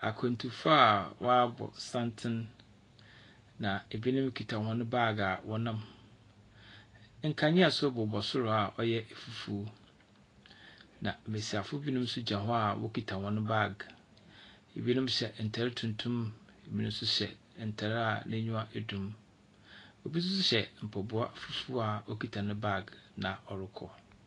Akwantufoɔ a wɔabɔ santene na ebinom kita wɔn baage a wɔnam. Na nkanea nso bobɔ soro a ɔyɛ fufuo. Na mmesiafo bi nso gyina hɔ a wɔkita wɔn baage. Ebinom hyɛ ntaare tuntum, ebinom nso hyɛ ntaare a n’enyiwa dum, ebi nso so hyɛ mpaboa fufuo a ɔkita ne bag na ɔrekɔ.